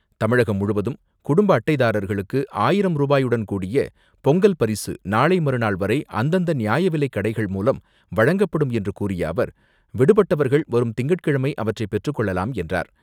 தமிழகம் முழுவதும் குடும்ப அட்டைதாரர்களுக்கு ஆயிரம் ரூபாயுடன் கூடிய பொங்கல் பரிசு நாளை மறுநாள் வரை அந்தந்த நியாய விலைக்கடைகள் மூலம் வழங்கப்படும் என்று கூறிய அவர், விடுபட்டவர்கள் வரும் திங்கட்கிழமை அவற்றை பெற்றுக்கொள்ளலாம் என்றார்.